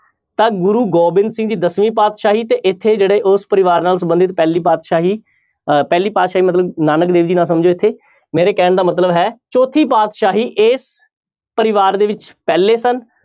ਤਾਂ ਗੁਰੂ ਗੋਬਿੰਦ ਸਿੰਘ ਜੀ ਦਸਵੀਂ ਪਾਤਿਸ਼ਾਹੀ ਤੇ ਇੱਥੇ ਜਿਹੜੇ ਉਸ ਪਰਿਵਾਰ ਨਾਲ ਸੰਬੰਧਿਤ ਪਹਿਲੀ ਪਾਤਿਸ਼ਾਹੀ ਅਹ ਪਹਿਲੀ ਪਾਤਿਸ਼ਾਹੀ ਮਤਲਬ ਨਾਨਕ ਦੇਵ ਜੀ ਨਾ ਸਮਝਿਓ ਇੱਥੇ, ਮੇਰੇ ਕਹਿਣ ਦਾ ਮਤਲਬ ਹੈ ਚੌਥੀ ਪਾਤਿਸ਼ਾਹੀ ਇਸ ਪਰਿਵਾਰ ਦੇ ਵਿੱਚ ਪਹਿਲੇ ਸਨ।